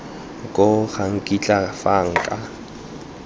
koo ga nkitla fa nka